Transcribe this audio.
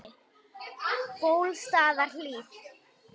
Bólstaðarhlíð